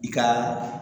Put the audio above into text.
I ka